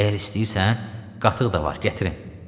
Əgər istəyirsən, qatıq da var, gətirəm.